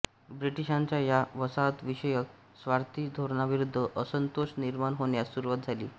ब्रिटिशांच्या या वसाहतविषयक स्वार्थी धोरणाविरुद्ध असंतोष निर्माण होण्यास सुरुवात झाली